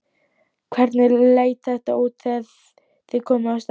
Andri: Hvernig leit þetta út þegar þið komuð á staðinn?